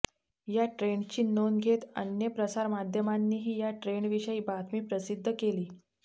या ट्रेंडची नोंद घेत अन्य प्रसारमाध्यमांनीही या ट्रेंडविषयी बातमी प्रसिद्ध केली